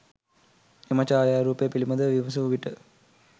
එම ඡායාරූපය පිළිබඳව විමසූ විට